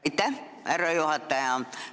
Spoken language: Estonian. Aitäh, härra juhataja!